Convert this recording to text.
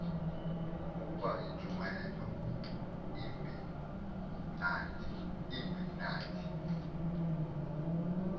ukuba intshumayelo ibimnandi